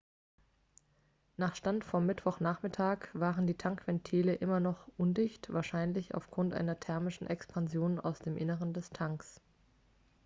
nach stand vom mittwochnachmittag waren die tankventile immer noch undicht wahrscheinlich aufgrund einer thermischen expansion aus dem inneren des tanks